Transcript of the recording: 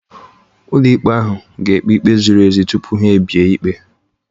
Ụlọikpe ahụ ga-ekpe ikpe ziri ezi tupu ha ebie ikpe